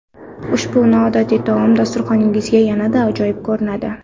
Ushbu noodatiy taom dasturxoningizda yanada ajoyib ko‘rinadi.